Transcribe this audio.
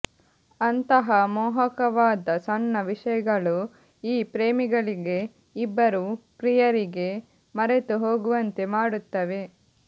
ಅಂತಹ ಮೋಹಕವಾದ ಸಣ್ಣ ವಿಷಯಗಳು ಈ ಪ್ರೇಮಿಗಳಿಗೆ ಇಬ್ಬರು ಪ್ರಿಯರಿಗೆ ಮರೆತುಹೋಗುವಂತೆ ಮಾಡುತ್ತವೆ